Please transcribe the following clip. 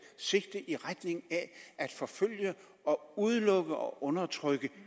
sigte i retning af at forfølge og udelukke og undertrykke